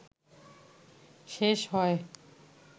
শেষ হয়